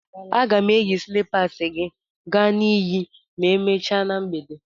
A ga m eyi slịpasị gị ga na iyi ma emechaa na mgbede.